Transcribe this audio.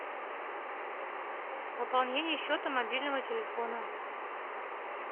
пополнение счета мобильного телефона